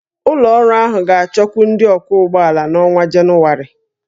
Ụlọ ọrụ ahụ ga-achọkwu ndị ọkwọ ụgbọ ala n'ọnwa Jenụwarị